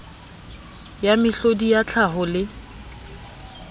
ya mehlodi ya tlhaho le